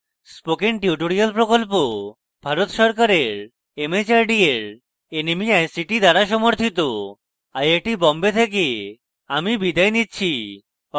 spoken tutorial project Bharat সরকারের mhrd এর nmeict দ্বারা সমর্থিত